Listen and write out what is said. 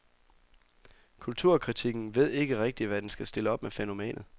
Kulturkritikken ved ikke rigtigt, hvad den skal stille op med fænomenet.